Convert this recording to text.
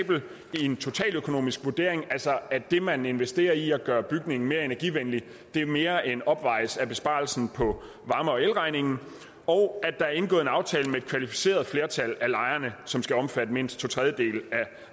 i en totaløkonomisk vurdering altså at det man investerer i at gøre bygningen mere energivenlig mere end opvejes af besparelsen på varme og elregningen og at der er indgået en aftale med kvalificeret flertal af lejerne som skal omfatte mindst to tredjedele af